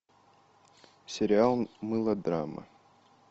сериал мылодрама